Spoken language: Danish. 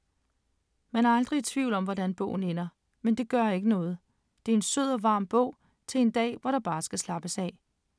Man er aldrig i tvivl om, hvordan bogen ender, men det gør ikke noget. Det er en sød og varm bog til en dag, hvor der bare skal slappes af.